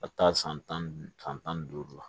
Ka taa san tan ni duuru la